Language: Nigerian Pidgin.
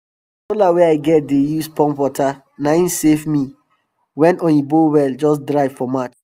sola wey i get dey use pump water na im save me wen oyinbo well just dry for march